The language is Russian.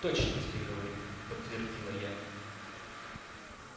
точно тебе говорю подтвердила я